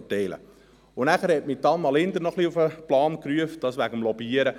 Zudem hat mich Anna Linder wegen des Lobbyierens auf den Plan gerufen: